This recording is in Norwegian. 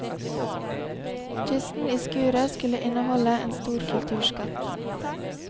Kisten i skuret skulle inneholde en stor kulturskatt.